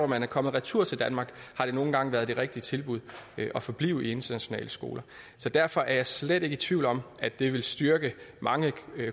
man er kommet retur til danmark har det nogle gange været det rigtige tilbud at forblive i internationale skoler så derfor er jeg slet ikke i tvivl om at det vil styrke mange